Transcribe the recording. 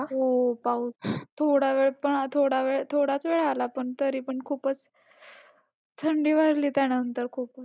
हो पाऊस थोडा वेळ पण थोडाच वेळ आला पण तरी पण खूपच थंडी वाजली त्यानंतर खूपच.